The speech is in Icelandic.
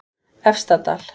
Efstadal